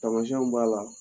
Tamasɛnw b'a la